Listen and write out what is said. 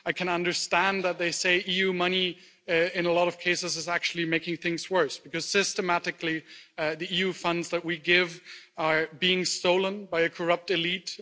I can understand that they say EU money, in a lot of cases, is actually making things worse, because systematically the EU funds that we give are being stolen by a corrupt elite.